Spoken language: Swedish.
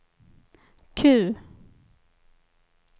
Q